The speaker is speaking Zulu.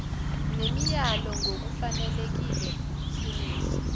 nemiyalo ngokufanelekile simise